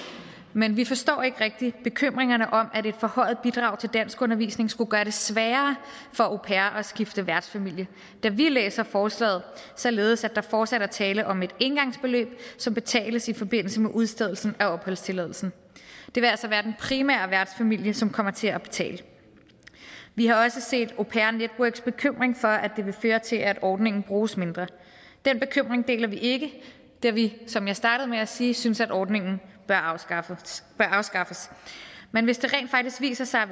men vi forstår ikke rigtig bekymringerne for at et forhøjet bidrag til danskundervisning skulle gøre det sværere for au pairer at skifte værtsfamilie da vi læser forslaget således at der fortsat er tale om et engangsbeløb som betales i forbindelse med udstedelse af opholdstilladelse det vil altså være den primære værtsfamilie som kommer til at betale vi har også set au pair networks bekymring for at det vil føre til at ordningen bruges mindre den bekymring deler vi ikke da vi som jeg startede med at sige synes ordningen bør afskaffes afskaffes men hvis det viser sig